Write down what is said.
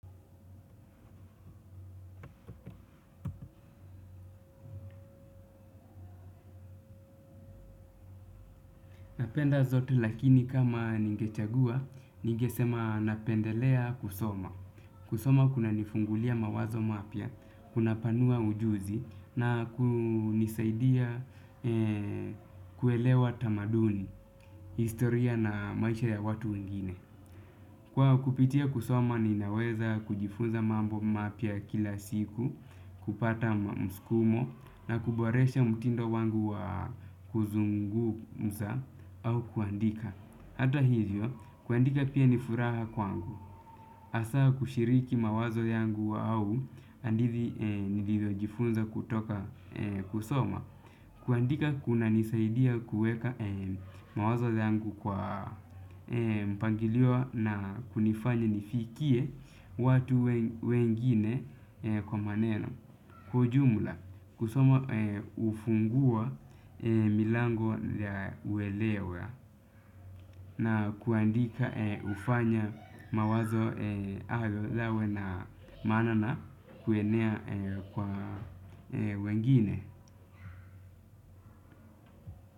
Napenda zote lakini kama ningechagua, ningesema napendelea kusoma. Kusoma kuna nifungulia mawazo mapya, kuna panua ujuzi na kunisaidia kuelewa tamaduni, historia na maisha ya watu wengine. Kwa kupitia kusoma ninaweza kujifunza mambo mapya kila siku kupata msukumo na kuboresha mtindo wangu wa kuzungumza au kuandika. Hata hivyo, kuandika pia ni furaha kwangu. Hasa kushiriki mawazo yangu au hadithi nilivyo jifunza kutoka kusoma. Kuandika kuna nisaidia kuweka mawazo yangu kwa mpangilio na kunifanya nifikie watu wengine kwa maneno. Kwa ujumla, kusoma hufungua milango ya uelewa na kuandika hufanya mawazo hayo yawe na maana na kuenea kwa wengine.